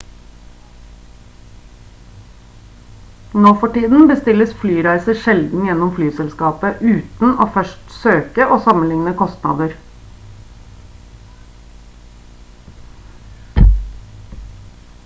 nå for tiden bestilles flyreiser sjelden gjennom flyselskapet uten å først søke og sammenligne kostnader